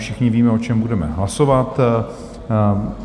Všichni víme, o čem budeme hlasovat.